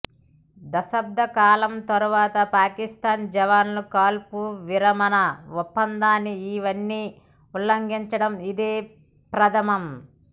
దశాబ్దకాలం తరువాత పాకిస్తాన్ జవాన్లు కాల్పుల విరమణ ఒప్పందాన్ని ఇన్నిసార్లు ఉల్లంఘించడం ఇదే ప్రధమం